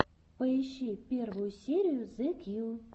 поищи первую серию зе кью